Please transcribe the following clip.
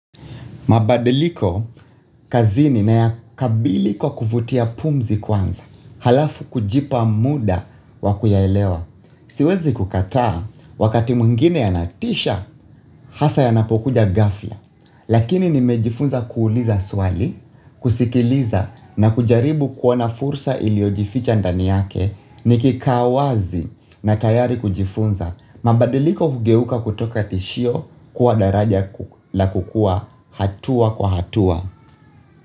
Mabadiliko, kazini nayakabili kwa kuvutia pumzi kwanza, halafu kujipa muda wa kuyaelewa. Siwezi kukataa, wakati mwingine yanatisha, hasa yanapokuja ghafla. Lakini nimejifunza kuuliza swali, kusikiliza na kujaribu kuona fursa iliojificha ndani yake, nikikaa wazi na tayari kujifunza. Mabadiliko hugeuka kutoka tishio kuwa daraja la kukua hatua kwa hatua.